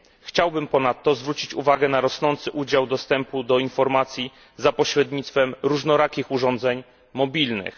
Chciałbym ponadto zwrócić uwagę na rosnący udział dostępu do informacji za pośrednictwem różnorakich urządzeń mobilnych.